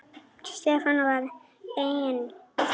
Stefán var einn þeirra.